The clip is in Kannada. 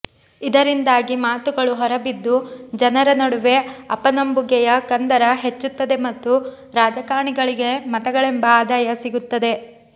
ಇದರಿಂದಾಗಿ ಮಾತುಗಳು ಹೊರಬಿದ್ದು ಜನರ ನಡುವೆ ಅಪನಂಬುಗೆಯ ಕಂದರ ಹೆಚ್ಚುತ್ತದೆ ಮತ್ತು ರಾಜಕಾರಣಿಗಳಿಗೆ ಮತಗಳೆಂಬ ಆದಾಯ ಸಿಗುತ್ತದೆ